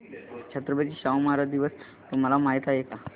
छत्रपती शाहू महाराज दिवस तुम्हाला माहित आहे